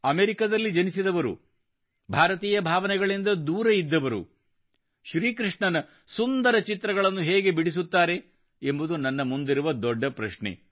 ಅಮೆರಿಕದಲ್ಲಿ ಜನಿಸಿದವರು ಭಾರತೀಯ ಭಾವನೆಗಳಿಂದ ದೂರ ಇದ್ದವರು ಶ್ರೀಕೃಷ್ಣನ ಸುಂದರ ಚಿತ್ರಗಳನ್ನು ಹೇಗೆ ಬಿಡಿಸುತ್ತಾರೆ ಎಂಬುದು ನನ್ನ ಮುಂದಿರುವ ದೊಡ್ಡ ಪ್ರಶ್ನೆ